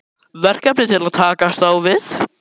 Verkefni til að takast á við?